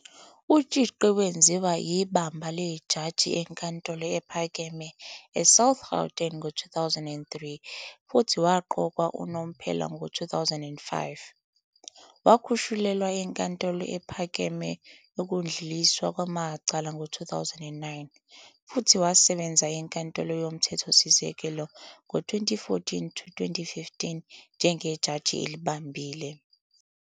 UTshiqi wenziwa ibamba lejaji eNkantolo ePhakeme eSouth Gauteng ngo-2003 futhi waqokwa unomphela ngo-2005. Wakhushulelwa eNkantolo Ephakeme Yokudluliswa Kwamacala ngo-2009 futhi wasebenza eNkantolo YoMthethosisekelo ngo-2014-15 njengejaji elibambile.